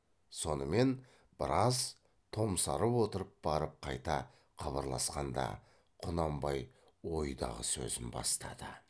сонымен біраз томсарып отырып барып қайта қыбырласқанда құнанбай ойдағы сөзін бастады